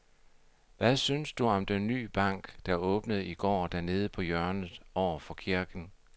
Hvad synes du om den nye bank, der åbnede i går dernede på hjørnet over for kirken?